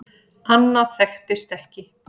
Annað þekktist ekki.